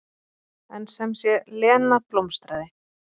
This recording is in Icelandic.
En sem sé, Lena blómstraði.